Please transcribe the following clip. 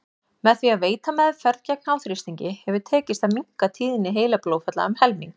Með því að veita meðferð gegn háþrýstingi hefur tekist að minnka tíðni heilablóðfalla um helming.